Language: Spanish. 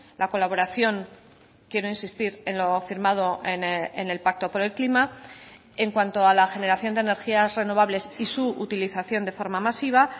la colaboración quiero insistir en lo firmado en el pacto por el clima en cuanto a la generación de energías renovables y su utilización de forma masiva